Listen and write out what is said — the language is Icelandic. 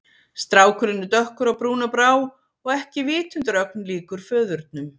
Strákurinn er dökkur á brún og brá og ekki vitundarögn líkur föðurnum.